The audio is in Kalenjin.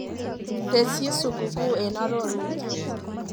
Tesyi sukukuu eng arorutiet.